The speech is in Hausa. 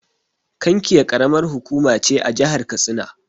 Kankia Ƙaramar hukuma ce a jahar katsina.